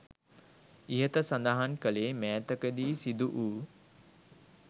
ඉහත සඳහන් කළේ මෑතක දී සිදු වූ